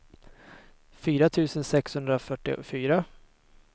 fyra tusen sexhundrafyrtiofyra